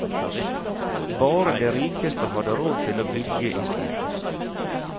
Bare de rikeste hadde råd til å bygge i stein.